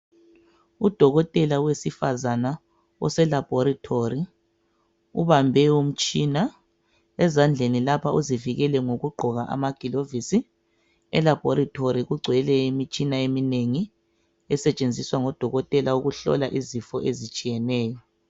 UDokotela wesifazana oseLabhoretori ubambe umtshina. Ezandleni lapha uzivikele ngokugqoka amagilovisi. Elabhoretori kugcwele imitshina eminengi esetshenziswa ngoDokotela ukuhlola izifo ezitshiyeneyo.